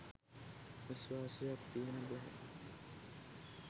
විශ්වාසයක් තියන්න බැහැ